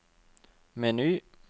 meny